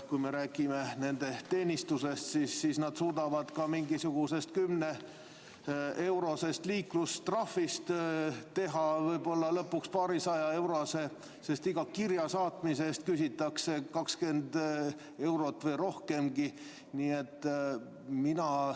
Kui me räägime nende teenistusest, siis nad suudavad mingisugusest kümneeurosest liiklustrahvist lõpuks teha võib-olla paarisajaeurose, sest iga kirja saatmise eest küsitakse 20 eurot või rohkemgi.